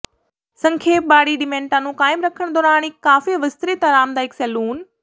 ਸੰਖੇਪ ਬਾਡੀ ਡਿਮੈਂਟਾਂ ਨੂੰ ਕਾਇਮ ਰੱਖਣ ਦੌਰਾਨ ਇੱਕ ਕਾਫ਼ੀ ਵਿਸਤ੍ਰਿਤ ਆਰਾਮਦਾਇਕ ਸੈਲੂਨ